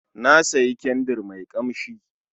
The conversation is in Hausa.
Na sayi kyandir mai kamshi